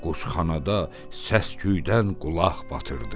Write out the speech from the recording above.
Quşxanada səsküydən qulaq batırdı.